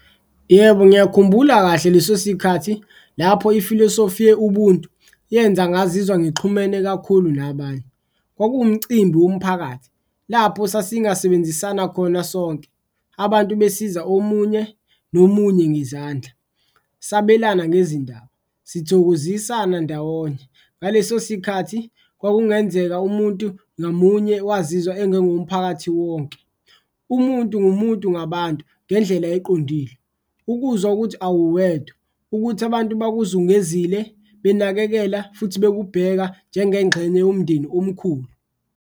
Yebo, ngiyakhumbula kahle leso sikhathi lapho ifilosofi ye-ubuntu yenza ngazizwa ngixhumene kakhulu nabanye, kwakuwumcimbi womphakathi lapho sasingasebenzisana khona sonke abantu besiza omunye nomunye ngezandla, sabelana ngezindaba, sithokozisana ndawonye. Ngaleso sikhathi kwakungenzeka umuntu ngamunye wazizwa engengo womphakathi wonke, umuntu ngumuntu ngabantu ngendlela eqondile, ukuzwa ukuthi awuwedwa, ukuthi abantu bakuzungezile benakekela futhi bekubheka njengengxenye yomndeni omkhulu.